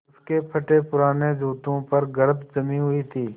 उसके फटेपुराने जूतों पर गर्द जमी हुई थी